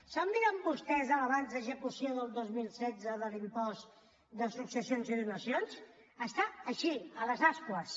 s’han mirat vostès l’avanç d’execució del dos mil setze de l’impost de successions i donacions està així a les ascuas